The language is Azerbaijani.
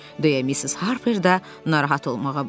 Deyə Missis Harpre də narahat olmağa başladı.